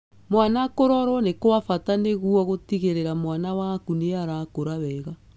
Mwana kũrorwo nĩ kwa bata nĩguo gũtigĩrĩra mwana waku nĩarakũra wega.